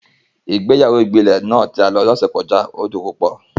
Ìgbéyàwó ìbílẹ̀ náà tí a lọ ní ọ̀sẹ̀ tó kọjá dùn púpọ̀